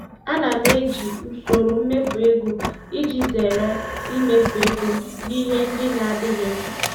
Ana m eji usoro mmefu ego iji zere imefu ego na ihe ndị na-adịghị mkpa.